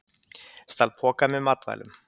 Stal poka með matvælum